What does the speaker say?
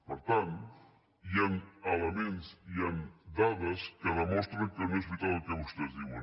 per tant hi han elements i hi han dades que demostren que no és veritat el que vostès diuen